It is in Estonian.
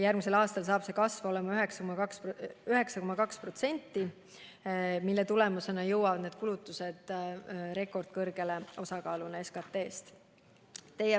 Järgmisel aastal saab kasv olema 9,2% ja selle tulemusena jõuavad need kulutused osakaaluna SKT‑s rekordkõrgele.